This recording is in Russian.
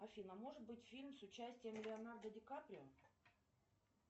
афина может быть фильм с участием леонардо ди каприо